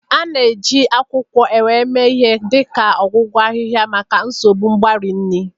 A na-eji akwukwo Ewè mee ihe dị ka ọgwụgwọ ahịhịa maka nsogbu mgbari nri.